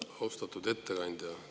Austatud ettekandja!